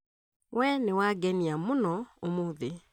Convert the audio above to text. We nĩwangenia mũno ũmũthĩ